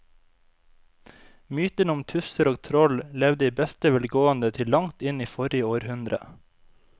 Mytene om tusser og troll levde i beste velgående til langt inn i forrige århundre.